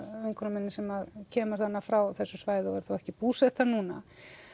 vinkonu minni sem kemur frá þessu svæði en er þó ekki búsett þar núna